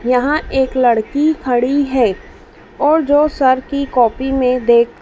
यहाँ एक लड़की खड़ी है और जो सर की कॉपी में देख --